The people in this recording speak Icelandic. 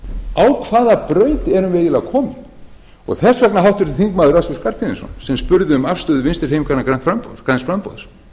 á hvaða braut erum við eiginlega komin þess vegna háttvirtur þingmaður össur skarphéðinsson sem spurði um afstöðu vinstri hreyfingarinnar græns framboðs